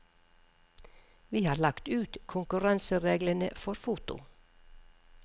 Vi har lagt ut konkurransereglene for foto.